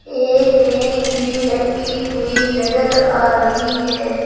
एक मेज भी रखी हुई नजर आ रही है।